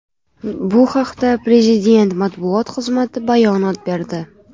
Bu haqda Prezident matbuot xizmati bayonot berdi .